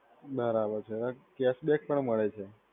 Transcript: બરાબર જરાક check back કા મળે છે?